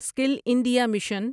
skill India mission